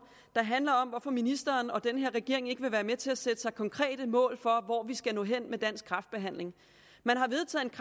der handler om hvorfor ministeren og den her regering ikke vil være med til at sætte sig konkrete mål for hvor vi skal nå hen med dansk kræftbehandling man har vedtaget